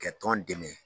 Ka tɔn dɛmɛ